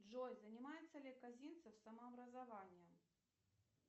джой занимается ли казинцев самообразованием